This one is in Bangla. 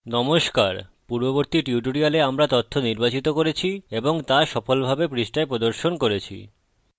নমস্কার! পূর্ববর্তী টিউটোরিয়ালে আমরা তথ্য নির্বাচিত করেছি এবং তা সফলভাবে পৃষ্ঠায় প্রদর্শন করেছি